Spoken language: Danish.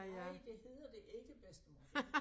Nej det hedder det ikke bedstemor det